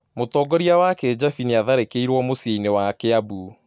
Mũtongoria wa kĩjabi nĩatharĩkeĩrwo mũcĩinĩ wa kiambu